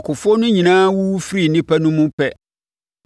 Akofoɔ no nyinaa wuwu firii nnipa no mu pɛ,